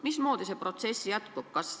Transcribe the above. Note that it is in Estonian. Mismoodi see protsess jätkub?